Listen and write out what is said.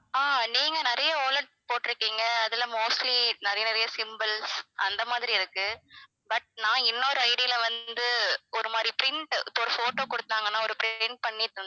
ஆஹ் நீங்க நிறைய wallet போட்டுருக்கீங்க அதுல mostly நிறைய நிறைய symbols அந்த மாதிரி இருக்கு but நான் இன்னொரு ID ல வந்து ஒரு மாதிரி print இப்ப ஒரு photo கொடுத்தாங்கனா ஒரு print பண்ணி தந்~